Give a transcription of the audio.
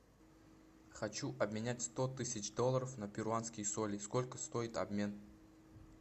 хочу обменять сто тысяч долларов на перуанские соли сколько стоит обмен